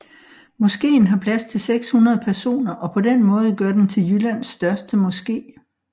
Moskeen har plads til 600 personer og på den måde gør den til Jyllands største moske